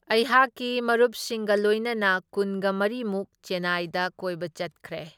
ꯑꯩꯍꯥꯛꯀꯤ ꯃꯔꯨꯞꯁꯤꯡꯒ ꯂꯣꯏꯅꯅ ꯀꯨꯟꯒ ꯃꯔꯤꯃꯨꯛ ꯆꯦꯅꯥꯏꯗ ꯀꯣꯏꯕ ꯆꯠꯈ꯭ꯔꯦ꯫